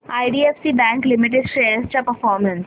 IDFC bank limited shares चा performance